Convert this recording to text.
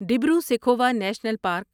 Dibru Saikhowa national park